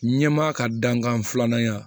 Ɲɛmaa ka dankan filanan